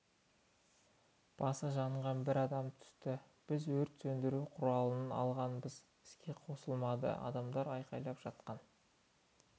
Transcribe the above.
басы жанған бір адам түсті біз өрт сөндіру құралын алғанымызбен іске қосылмады адамдар айқайлап жатқан